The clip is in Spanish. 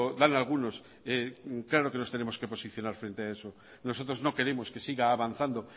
dan algunos claro que nos tenemos que posicionar frente a eso nosotros no queremos que siga avanzando